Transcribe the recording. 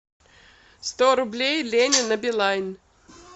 сто рублей лене на билайн